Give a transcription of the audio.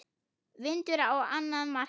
Vindur á annað markið.